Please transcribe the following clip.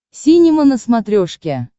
синема на смотрешке